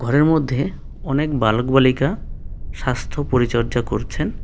ঘরের মধ্যে অনেক বালক বালিকা স্বাস্থ্য পরিচর্যা করছেন।